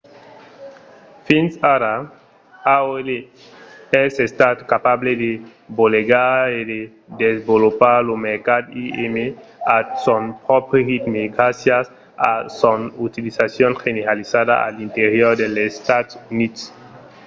fins ara aol es estat capable de bolegar e de desvolopar lo mercat im at son pròpri ritme gràcias a son utilizacion generalizada a l’interior dels estats units